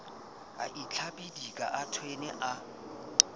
o tlabidika a thwene a